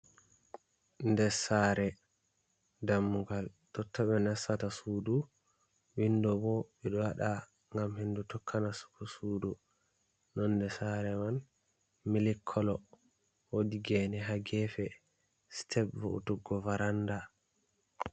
Nɗɗe saare, dammugal, totto ɓe nas tata sudu, windo bo ɓeɗo waɗa ngam hendu tokka nas tugo sudu. Nonde saare man mili kolo, wodi gene ha gefe sitep va'utuggo varanda.